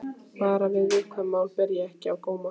Bara að viðkvæm mál beri ekki á góma.